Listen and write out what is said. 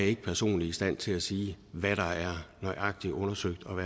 ikke personligt i stand til at sige hvad der er nøjagtig undersøgt og